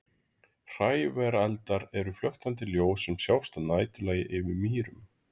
hrævareldar eru flöktandi ljós sem sjást að næturlagi yfir mýrum